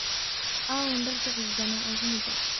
Aawun darkii cusubna oo cunuga.